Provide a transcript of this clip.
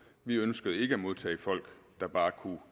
vi ønskede ikke at modtage folk der bare kunne